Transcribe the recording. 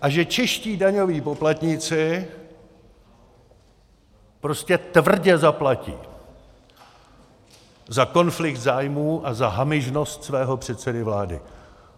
A že čeští daňoví poplatníci prostě tvrdě zaplatí za konflikt zájmů a za hamižnost svého předsedy vlády.